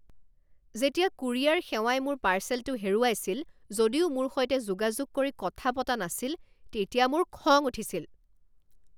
যেতিয়া কুৰিয়াৰ সেৱাই মোৰ পাৰ্চেলটো হেৰুৱাইছিল যদিও মোৰ সৈতে যোগাযোগ কৰি কথা পতা নাছিল তেতিয়া মোৰ খং উঠিছিল।